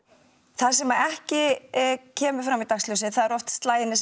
það sem ekki kemur fram í dagsljósið eru oft slagirnir